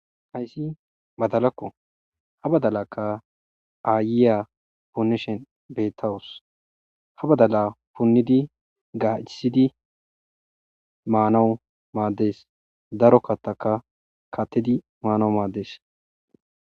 hayssi badalakko ha badalakka aayiya punishen beettawus ha badala punnidi gaachisidi maanawu maaddees daro kattaka kattidi maanawu maaddees